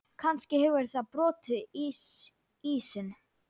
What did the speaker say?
Kannski hefur það brotið ísinn.